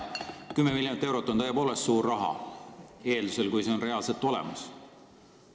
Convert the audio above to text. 10 miljonit eurot on tõepoolest suur raha – eeldusel, et see on reaalselt olemas.